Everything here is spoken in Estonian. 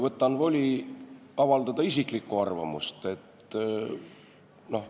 Võtan voli avaldada isiklikku arvamust.